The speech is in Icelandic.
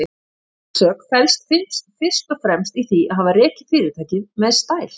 Mín sök felst fyrst og fremst í því að hafa rekið fyrirtækið með stæl.